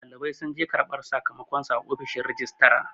ɗalibai sun je karbar sakamakonsu a fishin rijistara